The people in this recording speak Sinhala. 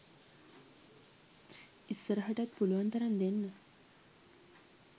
ඉස්සරහටත් පුළුවන් තරම් දෙන්න